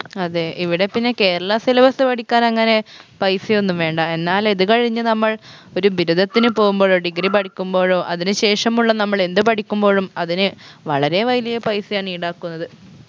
അതെ ഇവിടെ പിന്ന കേരള syllabus പഠിക്കാൻ അങ്ങനെ പൈസയൊന്നും വേണ്ട എന്നാൽ ഇത് കഴിഞ്ഞ് നമ്മൾ ഒരു ബിരുദത്തിന് പോവുമ്പഴോ degree പഠിക്കുമ്പോഴോ അതിന് ശേഷമുള്ള നമ്മളെന്ത് പഠിക്കുമ്പോഴും അതിന് വളരെ വലിയ പൈസയാണ് ഈടാക്കുന്നത്